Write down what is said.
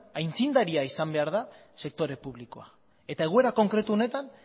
aitzindaria izan behar da sektore publikoa eta egoera konkretu honetan